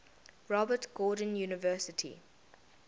robert gordon university